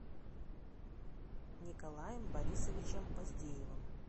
николаем борисовичем поздеевым